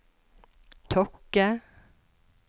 Tokke